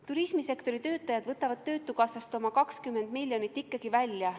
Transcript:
Turismisektori töötajad võtavad töötukassast oma 20 miljonit ikkagi välja.